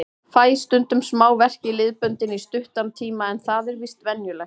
Fæ stundum smá verk í liðböndin í stuttan tíma en það er víst venjulegt.